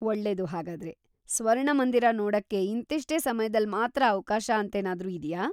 ಒಳ್ಳೇದು ಹಾಗಾದ್ರೆ. ಸ್ವರ್ಣಮಂದಿರ ನೋಡಕ್ಕೆ ಇಂತಿಷ್ಟೇ ಸಮಯದಲ್ಲ್‌ ಮಾತ್ರ ಅವ್ಕಾಶ ಅಂತೇನಾದ್ರೂ ಇದ್ಯಾ?